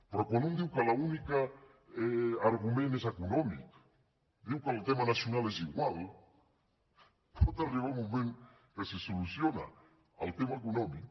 però quan un diu que l’únic argument és econòmic diu que el tema nacional és igual pot arribar un moment que si es soluciona el tema econòmic